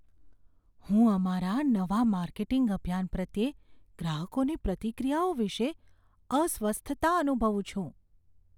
હું અમારા નવા માર્કેટિંગ અભિયાન પ્રત્યે ગ્રાહકોની પ્રતિક્રિયાઓ વિશે અસ્વસ્થતા અનુભવું છું.